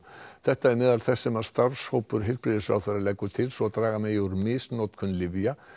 þetta er meðal þess sem starfshópur heilbrigðisráðherra leggur til svo draga megi úr misnotkun lyfja